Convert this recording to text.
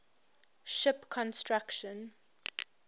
ship construction